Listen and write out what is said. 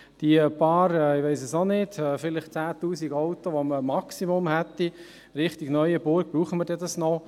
Die vielleicht 10 000 Autos, die man im Maximum in Richtung Neuenburg hätte: Brauchen wir das noch?